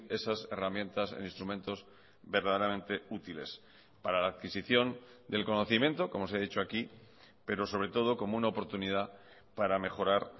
esas herramientas en instrumentos verdaderamente útiles para la adquisición del conocimiento como se ha dicho aquí pero sobre todo como una oportunidad para mejorar